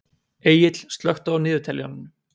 Egill, slökktu á niðurteljaranum.